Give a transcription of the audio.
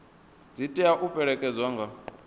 dzi tea u fhelekedzwa nga